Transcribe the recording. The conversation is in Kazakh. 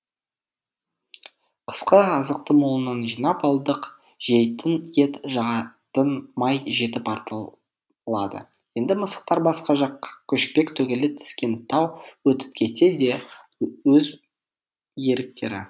қысқы азықты молынан жинап алдық жейтін ет жағатын май жетіп артылады енді мысықтар басқа жаққа көшпек түгілі тескентау өтіп кетсе де өз еріктері